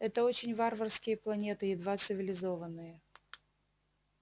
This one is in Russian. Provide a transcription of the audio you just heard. это очень варварские планеты едва цивилизованные